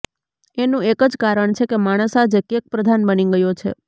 એનું એક જ કારણ કે માણસ આજે કેકપ્રધાન બની ગયો છે